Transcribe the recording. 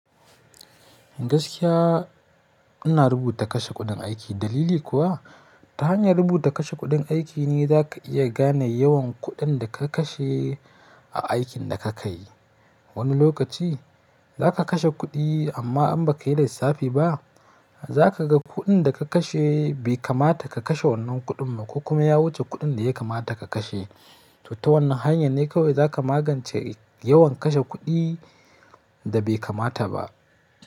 Gaskiya ina rubuta kashe kuɗin aiki. Dalili kuwa ta hanyar rubuta kashe kuɗin aiki ne za ka iya gane yawan kuɗin da ka kashe a aikin da ka yi. Wani lokaci za ka kashe kuɗi amma in ba ka yi lissafi ba, za ka ga kuɗin da ka kashe bai kamata ka kashe wannan kuɗin ba ko kuma ya wuce kuɗin da ya kamata ka kashe. To ta wannan hanya ne kawai za ka magance yawan kashe kuɗi da bai kamata ba.